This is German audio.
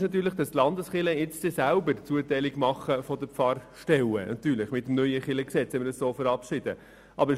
Allerdings werden die Landeskirchen mit dem neuen Kirchengesetz selber die Zuteilung der Pfarrstellen vornehmen.